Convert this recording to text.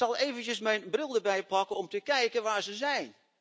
Ik zal eventjes mijn bril erbij pakken om te kijken waar ze zijn.